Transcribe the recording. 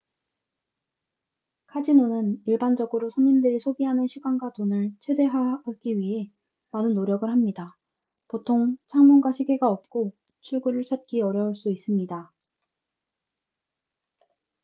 카지노는 일반적으로 손님들이 소비하는 시간과 돈을 최대화하기 위해 많은 노력을 합니다 보통 창문과 시계가 없고 출구를 찾기 어려울 수 있습니다